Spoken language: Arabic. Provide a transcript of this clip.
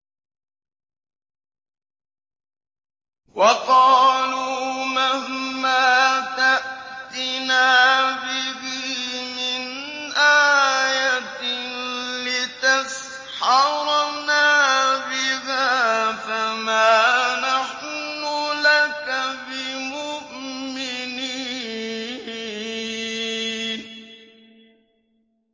وَقَالُوا مَهْمَا تَأْتِنَا بِهِ مِنْ آيَةٍ لِّتَسْحَرَنَا بِهَا فَمَا نَحْنُ لَكَ بِمُؤْمِنِينَ